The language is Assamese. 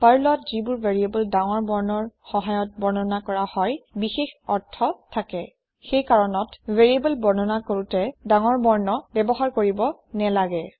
পাৰ্লত যিবোৰ ভেৰিয়েবল ডাঙৰ বৰ্ণৰ সহায়ত বৰ্ণনা কৰা হয় বিশেষ অৰ্থ থাকে সেইকাৰণত ভেৰিয়েবল বৰ্ণনা কৰোতে ডাঙৰ বৰ্ণ ব্যৱহাৰ কৰিব নেলাগে